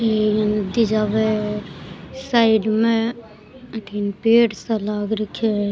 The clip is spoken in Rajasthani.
ये नदी जावे है साइड में अठीन पेड़ सा लाग रखयो है।